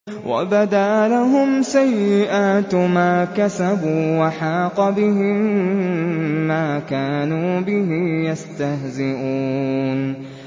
وَبَدَا لَهُمْ سَيِّئَاتُ مَا كَسَبُوا وَحَاقَ بِهِم مَّا كَانُوا بِهِ يَسْتَهْزِئُونَ